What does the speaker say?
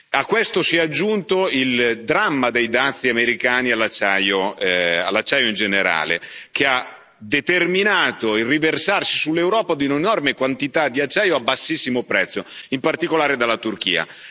A questo si è aggiunto il dramma dei dazi americani all'acciaio in generale, che ha determinato il riversarsi sull'Europa di un'enorme quantità di acciaio a bassissimo prezzo, in particolare dalla Turchia.